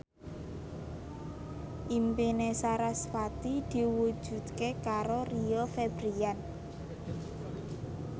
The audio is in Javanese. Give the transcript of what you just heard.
impine sarasvati diwujudke karo Rio Febrian